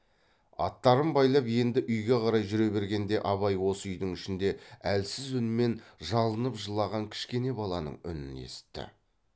аттарын байлап енді үйге қарай жүре бергенде абай осы үйдің ішінде әлсіз үнмен жалынып жылаған кішкене баланың үнін есітті